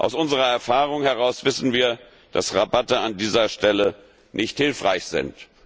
Aus unserer Erfahrung heraus wissen wir, dass Rabatte an dieser Stelle nicht hilfreich sind.